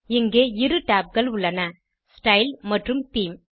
இங்கே இரு tabகள் உள்ளன ஸ்டைல் மற்றும் தேமே